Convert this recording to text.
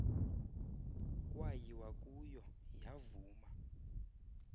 kwayiwa kuyo yavuma